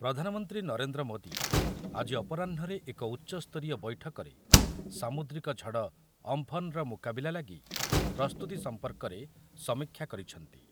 ପ୍ରଧାନମନ୍ତ୍ରୀ ନରେନ୍ଦ୍ର ମୋଦି ଆଜି ଅପରାହ୍ନରେ ଏକ ଉଚ୍ଚସ୍ତରୀୟ ବୈଠକରେ ସାମୁଦ୍ରିକ ଝଡ଼ ଅମ୍ଫନ ର ମୁକାବିଲା ଲାଗି ପ୍ରସ୍ତୁତି ସମ୍ପର୍କରେ ସମୀକ୍ଷା କରିଛନ୍ତି ।